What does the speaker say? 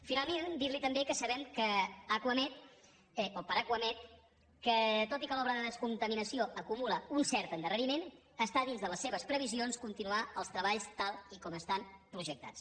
finalment dir li també que sabem que acuamed el parc acuamed que tot i que l’obra de descontaminació acumula un cert endarreriment està dins de les seves previsions continuar els treballs tal com estan projectats